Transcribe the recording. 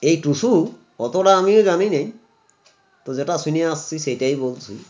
এই টুসু অতটা আমিও জানিনে তো যেটা শুনিয়া আসছি সেটাই বলছি